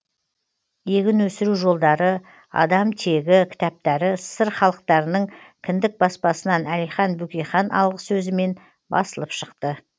егін өсіру жолдары адам тегі кітаптары ссср халықтарының кіндік баспасынан әлихан бөкейхан алғысөзімен басылып шықты